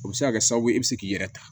O bɛ se ka kɛ sababu ye i bɛ se k'i yɛrɛ ta